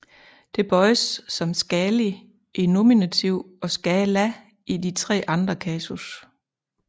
Det bøjes som Skáli i nominativ og Skála i de tre andre kasus